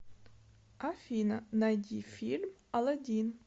афина найди фильм аладин